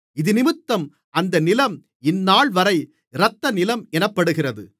இதினிமித்தம் அந்த நிலம் இந்தநாள்வரை இரத்தநிலம் எனப்படுகிறது